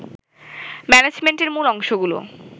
ম্যানেজমেন্টের মূল অংশগুলো